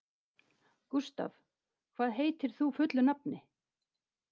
Gustav, hvað heitir þú fullu nafni?